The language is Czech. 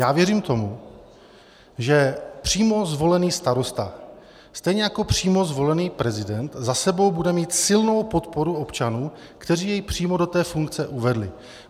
Já věřím tomu, že přímo zvolený starosta stejně jako přímo zvolený prezident za sebou bude mít silnou podporu občanů, kteří jej přímo do té funkce uvedli.